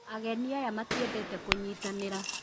Ageni aya matiendete kũnyitanira